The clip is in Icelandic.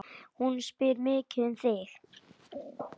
Hún spyr mikið um þig.